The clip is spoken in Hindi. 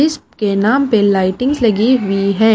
के नाम पे लाइटिंग्स लगी हुई है।